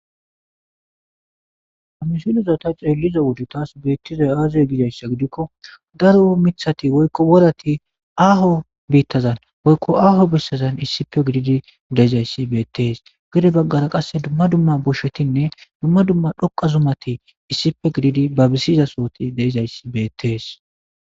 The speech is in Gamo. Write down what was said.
Hamisulozata xeellizo wodu taas beettizay aazey gidayssa gidikko daro mithati woykko worati aaho biittazan woykko aaho bessazan issipe gididi deizayssi beettees gide baggara qasse dumma dumma boshetinne dumma dumma dhoqa zumati issife gididi babisizasooti deizayssi beettees.